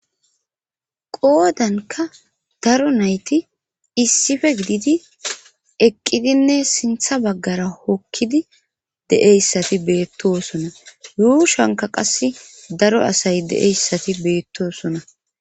qoodanka daro nayti issife gididi eqqidinne sintha baggara hokkidi de7eyssati beettosona yuushanka qasse daro asay de7eyssati beettosona